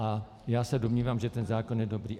A já se domnívám, že ten zákon je dobrý.